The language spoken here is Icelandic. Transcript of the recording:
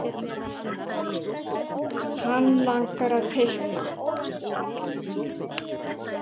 Hann langar að teikna.